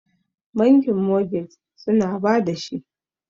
bankin mogage suna ba da shi